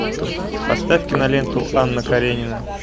поставь киноленту анна каренина